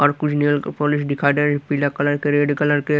और कुछ nail polish दिखाई दे रही पीला कलर के रेड कलर के।